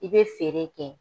I bɛ feere kɛ